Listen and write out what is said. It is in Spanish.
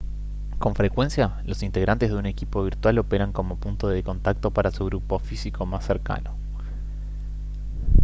con frecuencia los integrantes de un equipo virtual operan como punto de contacto para su grupo físico más cercano